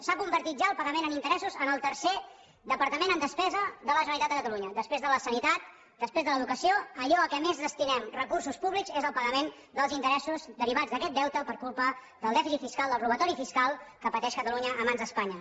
s’ha convertit ja el pagament en interessos en el tercer departament en despesa de la generalitat de catalunya després de la sanitat després de l’educació allò a què més destinem recursos públics és al pagament dels interessos derivats d’aquest deute per culpa del dèficit fiscal del robatori fiscal que pateix catalunya a mans d’espanya